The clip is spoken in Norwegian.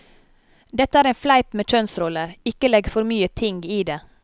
Dette er en fleip med kjønnsroller, ikke legg for mye ting i det.